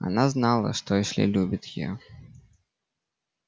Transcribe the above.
она знала что эшли любит её